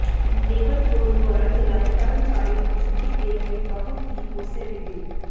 labour code ਦੁਆਰਾ ਚਲਾਏ ਕਰਮਚਾਰੀ ਨੂੰ ਛੁੱਟੀ ਦੇਣ ਲਈ ਬਹੁਤ ਹੀ ਉਸੇ ਵਿਧੀ